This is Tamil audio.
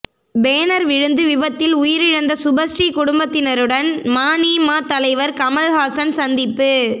பேனர் விழுந்து விபத்தில் உயிரிழந்த சுபஸ்ரீ குடும்பத்தினருடன் மநீம தலைவர் கமல் ஹாசன் சந்திப்பு